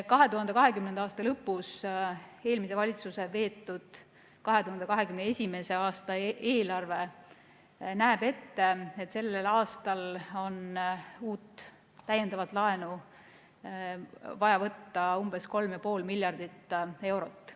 2020. aasta lõpus eelmise valitsuse veetud 2021. aasta eelarve näeb ette, et sellel aastal on uut täiendavat laenu vaja võtta umbes 3,5 miljardit eurot.